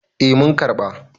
eh mun karɓa